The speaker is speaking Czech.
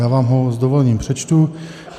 Já vám ho s dovolením přečtu.